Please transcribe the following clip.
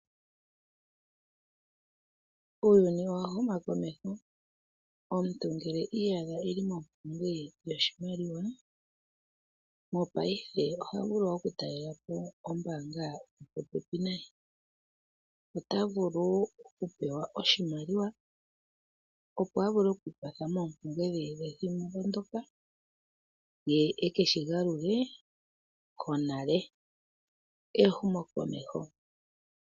Uuyuni owa huma komeho. Uuna omuntu iiyadha eli mompumbwe yoshimaliwa, Mo paife oha vulu oku taalelapo ombaanga yopopepi naye. Ota vulu oku pewa oshimaliwa opo a vule okwiikwatha moompumbwe dhe pethimbo ndyoka ye eke shi galule konale. Ehumo komeho.